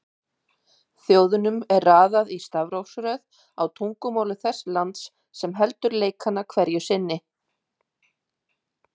Þjóðunum er raðað í stafrófsröð á tungumáli þess lands sem heldur leikana hverju sinni.